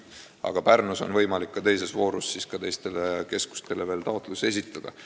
Aga Pärnus on võimalik ka teises voorus veel taotlusi esitada.